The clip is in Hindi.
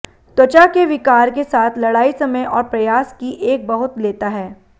त्वचा के विकार के साथ लड़ाई समय और प्रयास की एक बहुत लेता है